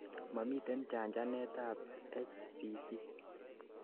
momiten chanchanet ab HCV